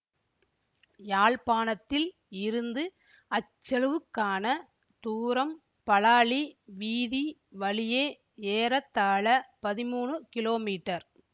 யாழ்ப்பாணத்தில் இருந்து அச்செழுவுக்கான தூரம் பலாலி வீதி வழியே ஏறத்தாழ பதிமூனு கிலோமீட்டர்